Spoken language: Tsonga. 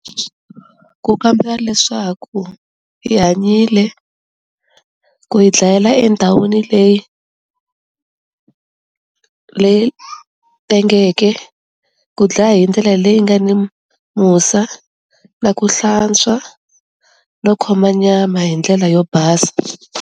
Ku kamba leswaku i hanyile ku hi dlayela endhawini leyi leyi tengeke, ku dlaya hi ndlela leyi nga ni musa na ku hlantswa no khoma nyama hi ndlela yo basa.